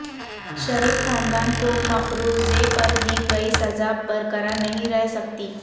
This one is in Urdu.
شریف خاندان کو مفروضے پر دی گئی سزا برقرار نہیں رہ سکتی